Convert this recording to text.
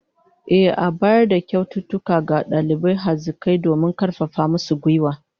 Ehh, an bayar da kyaututtuka ga dalibai hazikai domin karfafa musu gwiwa